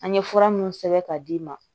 An ye fura minnu sɛbɛn ka d'i ma